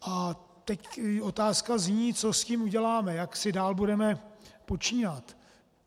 A teď otázka zní, co s tím uděláme, jak si dál budeme počínat.